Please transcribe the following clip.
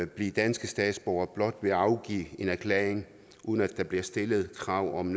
blive danske statsborgere blot ved at afgive en erklæring uden at der bliver stillet krav om